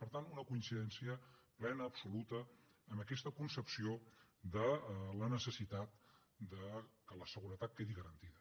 per tant una coincidència plena absoluta amb aquesta concepció de la necessitat que la seguretat quedi garantida